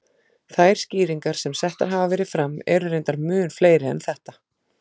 Þær skýringar sem settar hafa verið fram eru reyndar mun fleiri en þetta.